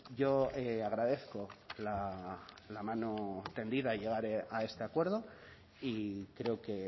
yo agradezco la mano tendida a llegar a este acuerdo y creo que